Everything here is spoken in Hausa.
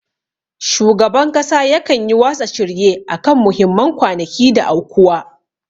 Shugaban kasa yakan yi watsa shirye akan muhimman kwanaki da aukuwa.